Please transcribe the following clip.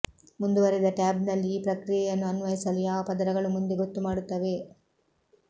ಮುಂದುವರಿದ ಟ್ಯಾಬ್ನಲ್ಲಿ ಈ ಪ್ರಕ್ರಿಯೆಯನ್ನು ಅನ್ವಯಿಸಲು ಯಾವ ಪದರಗಳು ಮುಂದೆ ಗೊತ್ತುಮಾಡುತ್ತವೆ